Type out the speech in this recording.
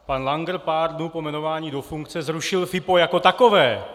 Pan Langer pár dnů po jmenování do funkce zrušil FIPO jako takové.